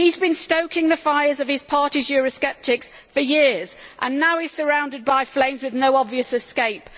He has been stoking the fires of his party's eurosceptics for years and now he is surrounded by flames with no obvious escape.